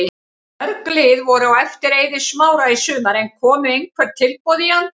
Mörg lið voru á eftir Eiði Smára í sumar en komu einhver tilboð í hann?